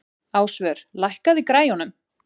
Ásvör, lækkaðu í græjunum.